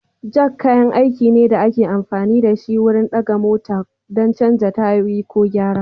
Jak kayan aiki ne da ake amfani da shi wurin ɗaga mota ko don canza tayoyi ko gyara.